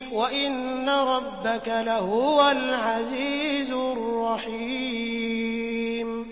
وَإِنَّ رَبَّكَ لَهُوَ الْعَزِيزُ الرَّحِيمُ